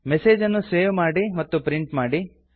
message ಅನ್ನು save ಮತ್ತು print ಮಾಡಿ